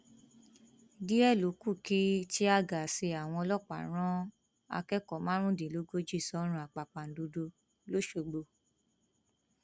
díẹ ló kù kí tíàgaàsì àwọn ọlọpàá rán akẹkọọ márùndínlógójì sọrùn àpàpàǹdodo lọsogbò